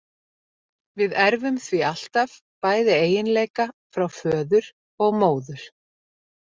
Við erfum því alltaf bæði eiginleika frá föður og móður.